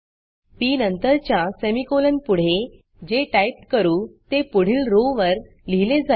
P नंतरच्या सेमीकोलनपुढे जे टाईप करू ते पुढील rowरो वर लिहिले जाईल